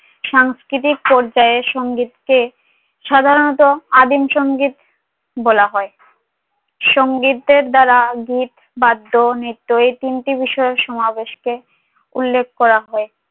সাংস্কিতিক পর্যায়ে সঙ্গীত কে সাধারণত আদিম সঙ্গীত বলা হয় সং গীতের দ্বারা বিদ বাদ্য নিত্য এই তিনটি বিষয়ে সমাবেশ কে উল্লেখ করা হয়